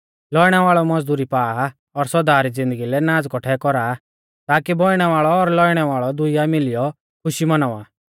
लौइणै वाल़ौ मज़दुरी पा आ और सौदा री ज़िन्दगी लै नाज़ कौठै कौरा आ ताकी बौइणै वाल़ौ और लौइणै वाल़ौ दूईया मिलियौ खुशी मौनावा